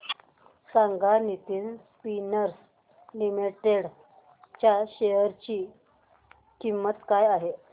सांगा Nitin spinners limited च्या share ची किंमत काय आहे